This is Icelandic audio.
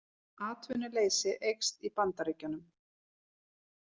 Atvinnuleysi eykst í Bandaríkjunum